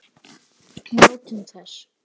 Njótum þess.